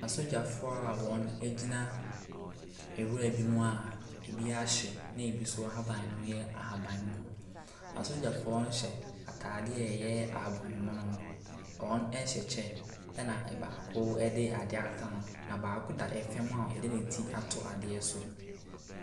Asogyafoɔ a wɔgyina nwura bi mu a ɛbi ahye na bi nso haban no yɛ ahabanmono. Asogyafoɔ no hyɛ ataadeɛ a ɛyɛ ahabanmono. Wɔhyɛ kyɛ na baako de adeɛ ahata ne ho. Na baako da fam a yɛde ne ti ato adeɛ so.